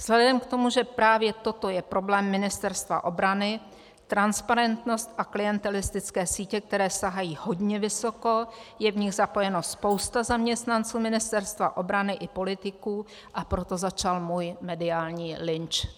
Vzhledem k tomu, že právě toto je problém Ministerstva obrany, transparentnost a klientelistické sítě, které sahají hodně vysoko, je v nich zapojena spousta zaměstnanců Ministerstva obrany i politiků, a proto začal můj mediální lynč.